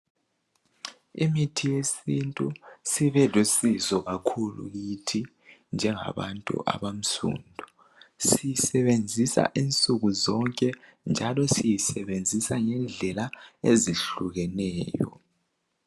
Imithi yesiNtu sibelusizo kakhulu kithi njengabantu abansundu. Siyisebenzisa nsukuzonke njalo ngendlela ezehlukeneyo.